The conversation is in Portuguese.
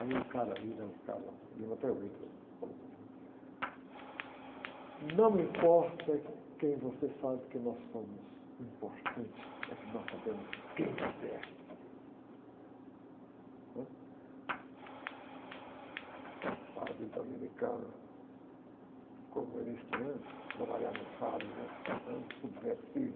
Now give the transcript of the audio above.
Aí o cara vira, o cara, eu lembro até hoje dele... Não importa quem você sabe que nós somos, o importante é que nós sabemos quem você é, né? Padre dominicano, comunista, né? Trabalhava em fábrica, né? Subversivo.